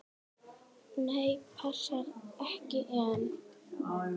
Nei, passar ekki enn!